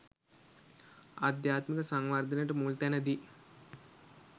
අධ්‍යාත්මික සංවර්ධනයට මුල්තැන දී